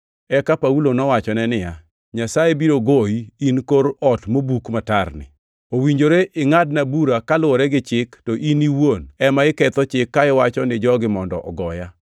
Eka Paulo nowachone niya, “Nyasaye biro goyi, in kor ot mobuk matarni! Owinjore ingʼadna bura kaluwore gi Chik, to in iwuon ema iketho chik ka iwacho ni jogi mondo ogoya!”